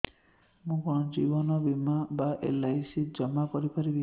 ମୁ କଣ ଜୀବନ ବୀମା ବା ଏଲ୍.ଆଇ.ସି ଜମା କରି ପାରିବି